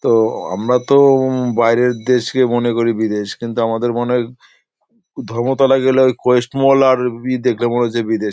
তো আমরা তো উম বাইরের দেশকে মনে করি বিদেশ কিন্তু আমাদের মনে হয় ধর্মতলা গেলে ওই কোয়েস্ট মল আর ই দেখলে মনে হয় যে বিদেশ।